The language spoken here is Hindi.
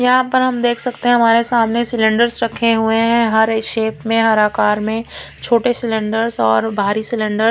यहां पर हम देख सकते हैं हमारे सामने सिलेंडर्स रखे हुए हैं हर शेप में हर आकार में छोटे सिलेंडर्स और भारी सिलेंडर ।